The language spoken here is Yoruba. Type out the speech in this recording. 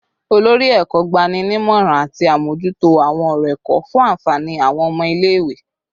Olori Eko gbanimọran ati amojuto awọn ọrọ ẹkọ fun anfani awọn ọmọ ile-iwe